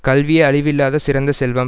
கல்வியே அழிவு இல்லாத சிறந்த செல்வம்